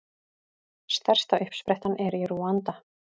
Stærsta uppsprettan er í Rúanda.